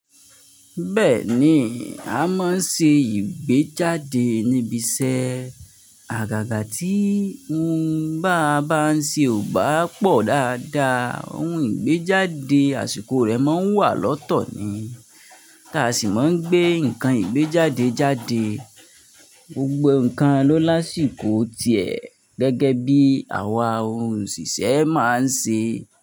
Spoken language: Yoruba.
Bẹ́ẹ̀ni, a máa ń ṣe ìgbéjáde ní ibi iṣẹ́. Àgàgà tí ohun bá bá ń ṣe ò bá pọ̀ dáadáa, ohun ìgbéjáde àsìkò rẹ̀ máa ń wà lọ́tọ̀ ni. Ti á a sì máa ń gbé nǹkan ìgbéjáde jáde, gbogbo nǹkan lo ásìkò tiẹ̀ gẹ́gẹ́ bí àwa òhun òṣìṣẹ́ máa ń ṣe.